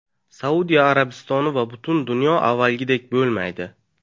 Saudiya Arabistoni va butun dunyo avvalgidek bo‘lmaydi.